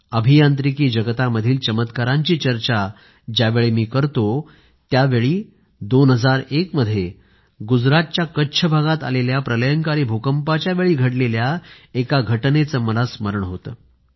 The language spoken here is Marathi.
अभियांत्रिकी जगतामधील चमत्कारांची चर्चा ज्यावेळी मी करतो त्यावेळी 2001 मध्ये गुजरातच्या कच्छ भागात आलेल्या प्रलंयकारी भूकंपाच्या वेळी घडलेल्या एका घटनेचं मला स्मरण होतं